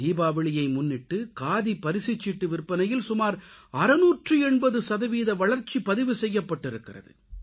தீபாவளியை முன்னிட்டு காதி பரிசுச்சீட்டு விற்பனையில் சுமார் 680 சதவீத வளர்ச்சி பதிவு செய்யப்பட்டிருக்கிறது